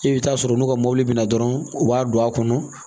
I bɛ taa sɔrɔ n'u ka mobili bɛ na dɔrɔn u b'a don a kɔnɔ